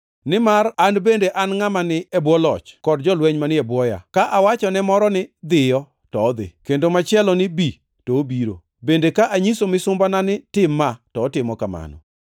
Nimar an bende an ngʼama ni e bwo loch kod jolweny manie bwoya. Ka awacho ne moro ni, ‘Dhiyo’ to odhi, kendo machielo ni ‘Bi’ to obiro. Bende ka anyiso misumbana ni, ‘Tim ma,’ to otimo kamano.”